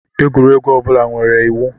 Egwuregwu ọ bụla nwere iwu.